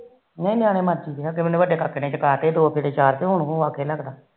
ਨਹੀ ਨਿਆਣੇ ਮਰਜੀ ਦੇ ਅੱਗੇ ਵੱਡੇ ਕਾਕੇ ਨੇ ਚਕਾ ਦੇ ਦੋ ਗੇੜੇ ਤੇ ਉਹ ਆਖੇ ਨੀ ਲੱਗਦਾ